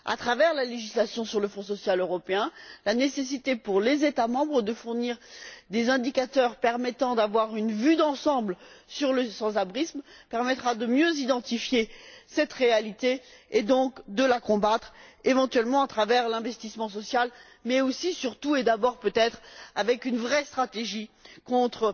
À travers la législation sur le Fonds social européen, la nécessité pour les États membres de fournir des indicateurs permettant d'avoir une vue d'ensemble sur le sans abrisme permettra de mieux identifier cette réalité et donc de la combattre, éventuellement grâce à l'investissement social, mais aussi, surtout et d'abord peut être, avec une vraie stratégie contre